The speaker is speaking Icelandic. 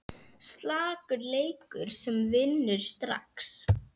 Slakur leikur sem vinnur strax!